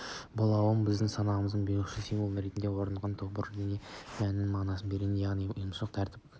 болмауы біздің санамызға бейұйымшылдықтың символы ретінде орныққан тобыр деген ұғымның мән-мағынасын бередібасқарудан яғни ұйымшылдықтан тәртіптен